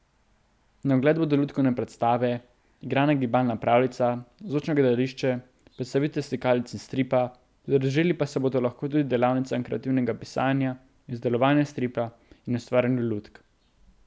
Na ogled bodo lutkovne predstave, igrana gibalna pravljica, zvočno gledališče, predstavitve slikanic in stripa, pridružili pa se bodo lahko tudi delavnicam kreativnega pisanja, izdelovanja stripa in ustvarjanju lutk.